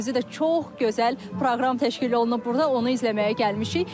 Özü də çox gözəl proqram təşkil olunub burda, onu izləməyə gəlmişik.